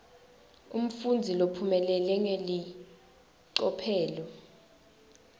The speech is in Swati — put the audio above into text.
umfundzi lophumelele ngelicophelo